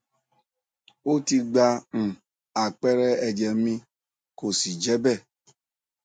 ó ti gba um àpẹẹrẹ ẹjẹ mi kò sì je be